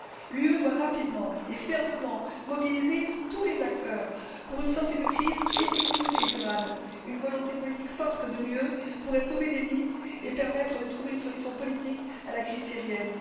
L'Union doit, rapidement et fermement, mobiliser tous les acteurs, pour une sortie de crise effective et durable. Une volonté politique forte de l'UE permettrait de sauver des vies et de trouver une solution politique à la crise syrienne.